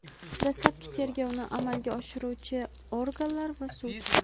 dastlabki tergovni amalga oshiruvchi organlar va sud;.